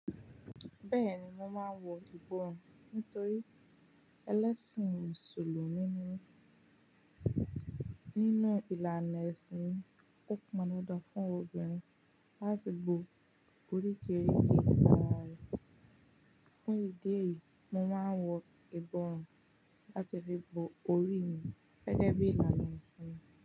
Bẹ́ẹ̀ni, mo máa ń wọ ìbọrùn nítorí ẹlẹ́sìn mùsùlùmí ni mí. Nínú ìlànà ẹ̀sìn mi, ó pọn dandan fún obìnrin láti bo orí kéré gidi ara rẹ̀. Fún ìdí èyí, mo máa ń wọ ìbọrùn láti fi bo orí mi gẹ́gẹ́ bí ìlànà ẹ̀sìn mi.